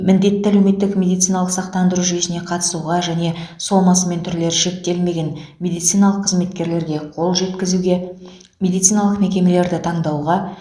міндетті әлеуметтік медициналық сақтандыру жүйесіне қатысуға және сомасы мен түрлері шектелмеген медициналық қызметкерлерге қол жеткізуге медициналық мекемелерді таңдауға